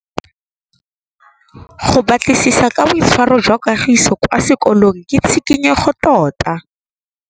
Go batlisisa ka boitshwaro jwa Kagiso kwa sekolong ke tshikinyêgô tota.